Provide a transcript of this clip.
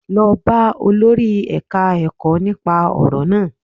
Lọ bá olórí ẹ̀ka-ẹkọ́ nípa ọ̀rọ̀ náà